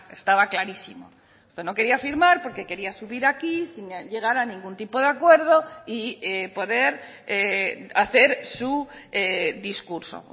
estaba clarísimo usted no quería firmar porque quería subir aquí sin llegar a ningún tipo de acuerdo y poder hacer su discurso